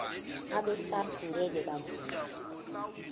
abesars ngeke bavuma